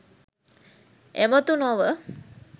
එමතු නොව,